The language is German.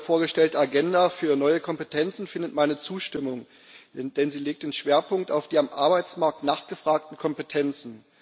Die heute vorgestellte Agenda für neue Kompetenzen findet meine Zustimmung, denn sie legt den Schwerpunkt auf die am Arbeitsmarkt nachgefragten Kompetenzen.